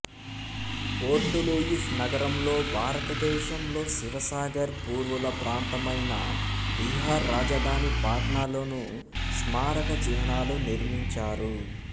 port Louis నగరంలో భారతదేశంలో శివసాగర్ పూర్వుల ప్రాంతమైన బీహార్ రాజధాని పాట్నాలోనూ స్మారక చిహ్నాలు నిర్మించారు